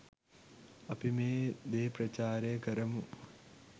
අපි මේ දේ ප්‍රචාරය කරමු.